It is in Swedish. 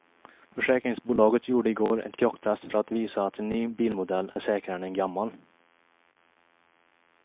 Försäkringsbolaget gjorde i går ett krocktest för att visa att en ny bilmodell är säkrare än en gammal.